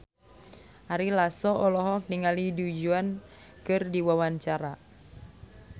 Ari Lasso olohok ningali Du Juan keur diwawancara